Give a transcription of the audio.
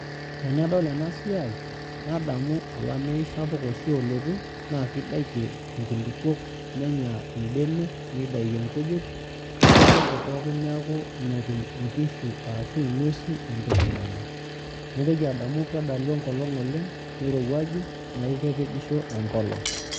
Tenadol enasiai nadamu olameyu oshi sapuk oshi olotu nakidakie nkulukuok nenya mbenek nidakie enterit netoi enkop pookin neaku metum ngwesi ashu nkishu entoki nanya naitoki adamu ajo kelo nirowuaju neaku kepejisho enkolong.